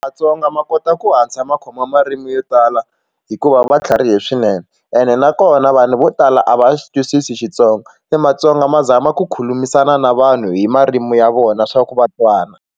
Matsonga ma kota ku hatla ma khoma marimi yo tala hikuva va tlharihile swinene ene nakona vanhu vo tala a va xi twisisi Xitsonga matsonga ma zama ku khulumisana na vanhu hi marimi ya vona swa ku va twana.